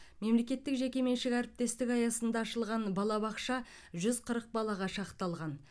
мемлекеттік жекеменшік әріптестік аясында ашылған балабақша жүз қырық балаға шақталған